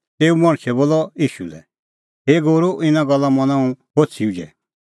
तेऊ मणछै बोलअ ईशू लै हे गूरू इना गल्ला मना हुंह होछ़ी उझै